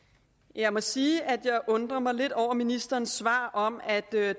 jeg må sige at jeg undrer mig lidt over ministerens svar om at det her